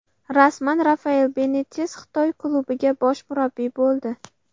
Rasman: Rafael Benites Xitoy klubiga bosh murabbiy bo‘ldi.